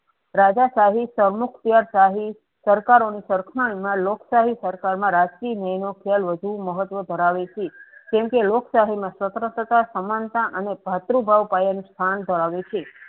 રાજા શાહી શાહી સરકારોની સરકાર માં લોક શાહી સરકારમાં રાજકીય ન્યાયનો ખ્યાલ વધુ મહત્વનો ધરાવે છે કેમકે લોક શાહીમાં સ્વતંત્રતા સમાનતા અને ભાતૃભાવ પાયાનું સ્થાન ધરાવે છે.